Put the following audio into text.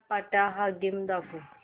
आट्यापाट्या हा गेम दाखव